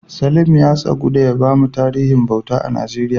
Salim ya tsagu ya bamu tarihin bauta a Najeriya.